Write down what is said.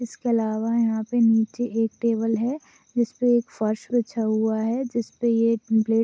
इसके अलावा यहा पे नीचे एक टेबल है जिसपे एक फर्श बिछाया हैं। जिसपे ये प्लेट --